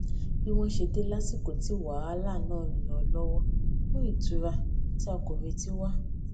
bí wọn ṣe dé lásìkò tí wàhálà náà ń lọ lówọ mú ìtura tí a kò retí wá